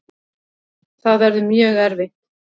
Það verður mjög erfitt.